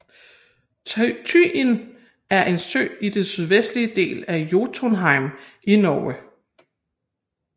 Tyin er en sø i den sydvestlige del af Jotunheimen i Norge